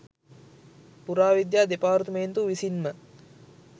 පුරා විද්‍යා දෙපාර්තමේන්තුව විසින්ම